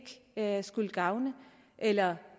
jeg skulle gavne eller